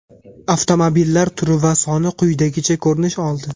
avtomobillar turi va soni quyidagicha ko‘rinish oldi:.